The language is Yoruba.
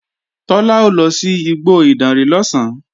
Tọ́lá ó lọ sí igbó Ìdànrè lọ̀sán